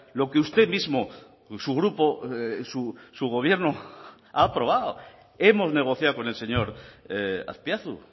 lo que usted mismo su grupo su gobierno ha aprobado hemos negociado con el señor azpiazu